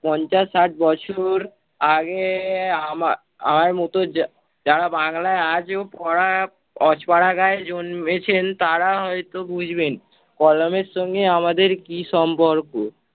পঞ্চাশ-ষাট বছর আগে~ আমার~ আমার মতো যা~ যারা বাংলায় আজো পড়া~ অজোপাড়া গাঁয়ে জন্মেছেন তারা হয়ত বুঝবেন। কলমের সঙ্গে আমাদের কি সম্পর্ক